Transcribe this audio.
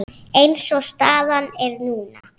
Eins og staðan er núna.